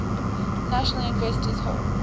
national inventors hall